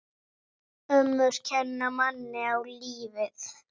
Ömmur kenna manni á lífið.